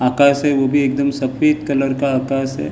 आकास है वो भी एकदम सफेद कलर का आकास है।